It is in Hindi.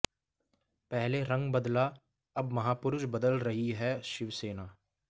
पहले रंग बदला अब महापुरुष बदल रही है शिवसेना